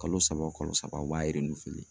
Kalo saba kalo saba u b'a